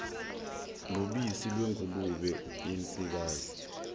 nobisi lwengulube yensikazi